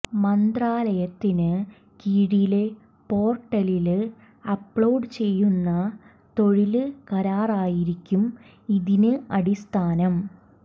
മന്ത്രാലയത്തിന് കീഴിലെ പോര്ട്ടലില് അപ്ലോഡ് ചെയ്യുന്ന തൊഴില് കരാറായിരിക്കും ഇതിന് അടിസ്ഥാനം